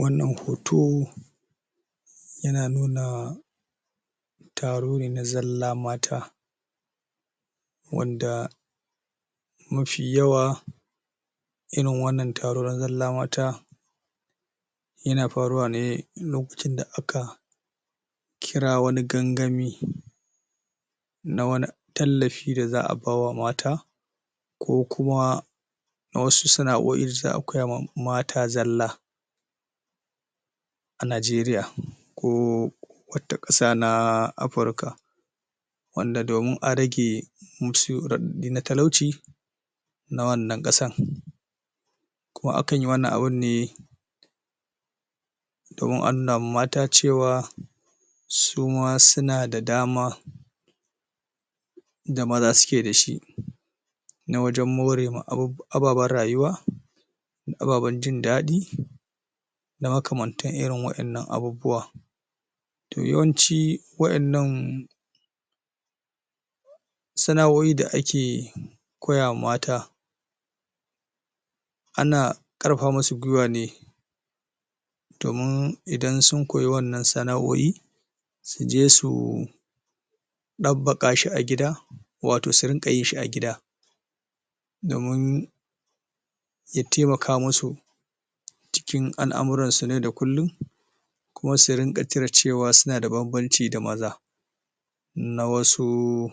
wannan hoto yana nuna taro ne na zalla mata wanda mafi yawa irin wannan taro na zalla mata yana faruwa ne lokacin da aka kira wani gangami a wani tallafi da za a bawa mata ko kuma wasu sana'oi da za a koyawa mata zalla a nigeria ko wata ƙasa na africa wanda domin a rage musu raɗaɗe na talauci na wannan ƙasan kuma akanyi wannan abun ne domin a nunawa mata cewa suma suna da dama da maza suke dashi na wajan morewa ababan rayuwa ababen jindaɗi da makamantan irin wa innan abubuwa to yawanci wa innan sana'oi da ake koya wa mata ana ƙarfafa musu gwiwa ne domin idan sun koye wa innan sana'oi suje su ɗabbaƙa shi a gida wato surin ga yinshi a gida domin ya taimaka musu cikin al'amuransu na yau da kullin kuma su rinƙa cire cewa suna da banbanci da maza na wasu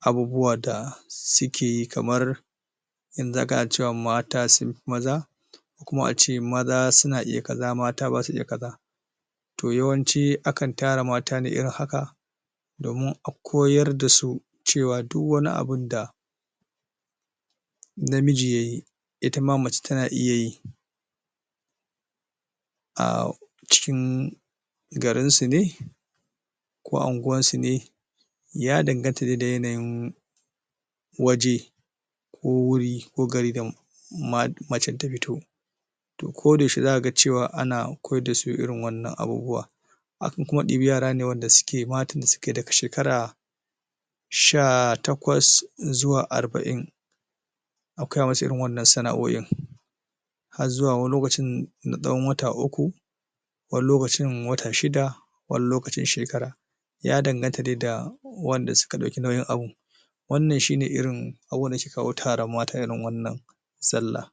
abubuwa da suke kamar wanda zaka ga cewa mata sunfi maza ko kuma ace maza suna iya kaza mata basa iya kaza to yawanci akan tara mata ne irin haka domin a koyar da su cewa duk wani abunda namiji yayi itama mace tana iya yi a cikin garinsu ne ko a unguwarsu ne ya danganta ne da yanayin waje ko wuri ko garin da macan ta fito to ko da yaushe zaka ga cewa ana koyar dasu irin wannan abubuwa akan koma ɗebi yarane wanda suke matan da suke daga shekara sha taƙwas zuwa arba'in a koya musu irin wannan sana'oin har zuwa wani lokacin na tsawan wata uku wani lokacin wata shida wani lokacin shekara ya danganta dai da wanda suka ɗauki nauyin abun wannan shine irin abubuwan da yake kawo taran mata irin wannan sallah